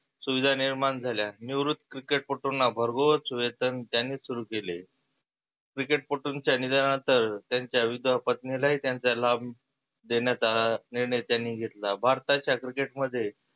सुविधा निर्माण झाल्या. निवृत्त cricket पट्टुंना भरगोस वेतन त्यांनीच सुरु केले. cricket पट्टुच्या निधना नंतर त्याच्या विधवा पत्नीला ही त्याचा लाभ देण्याचा निर्णय त्यांनी घेतला. भारताच्या cricket मध्ये